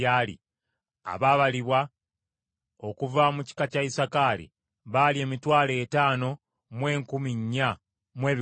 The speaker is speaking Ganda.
Abaabalibwa okuva mu kika kya Isakaali baali emitwalo etaano mu enkumi nnya mu ebikumi bina (54,400).